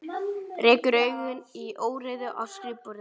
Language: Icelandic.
Rekur augun í óreiðu á skrifborðinu.